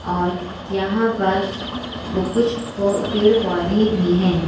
और यहां पर कुछ प पेड़ पौधे भी हैं।